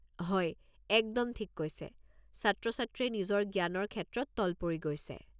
হয়, একদম ঠিক কৈছে, ছাত্ৰ-ছাত্ৰীয়ে নিজৰ জ্ঞানৰ ক্ষেত্ৰত তল পৰি গৈছে।